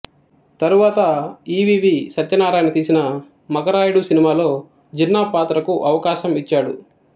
తరువాత E V V Satyanarayana తీసిన మగరాయుడు సినిమాలో జిన్నా పాత్రకు అవకాశం ఇచ్చాడు